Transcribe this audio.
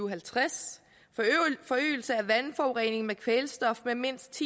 og halvtreds forøgelse af vandforureningen med kvælstof med mindst